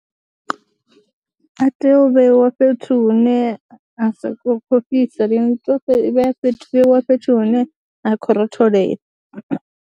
A tea u vheiwa fhethu hune a sa khou fhisa lini, a tea u vheiwa fhethu, vheiwa fhethu hune ha khou rotholela.